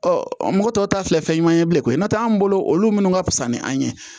Ɔ mɔgɔ tɔw ta filɛ fɛn ɲuman ye bilen koyi n'o tɛ anw bolo olu minnu ka fisa ni an ye